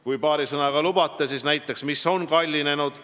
Kui lubate, siis ma paari sõnaga ütlen näiteks, mis on kallinenud.